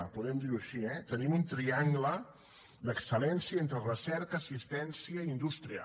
podem dir ho així eh tenim un triangle d’excel·lència entre recerca assistència i indústria